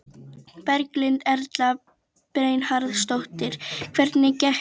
Berghildur Erla Bernharðsdóttir: Hvernig gekk?